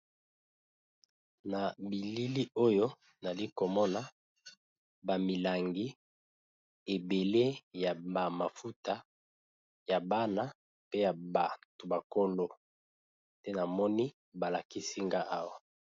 Nabilili oyo azali komona bamilangi ebele ya ba mafuta ya bana pe nabato mikolo nde namoni balakisi nga awa